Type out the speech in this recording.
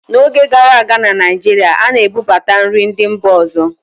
n'oge gara aga na Naijiria, a na-ebubata nri ndị mba ọzọ